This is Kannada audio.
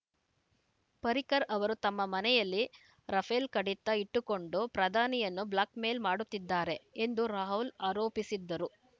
ಪರ್ರಿಕರ್‌ ಅವರು ತಮ್ಮ ಮನೆಯಲ್ಲಿ ರಫೇಲ್‌ ಕಡತ ಇಟ್ಟುಕೊಂಡು ಪ್ರಧಾನಿಯನ್ನು ಬ್ಲ್ಯಾಕ್‌ಮೇಲ್‌ ಮಾಡುತ್ತಿದ್ದಾರೆ ಎಂದೂ ರಾಹುಲ್‌ ಆರೋಪಿಸಿದ್ದರು